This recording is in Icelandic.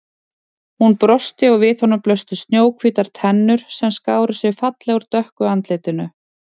Hún brosti og við honum blöstu snjóhvítar tennur sem skáru sig fallega úr dökku andlitinu.